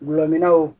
Gulɔmin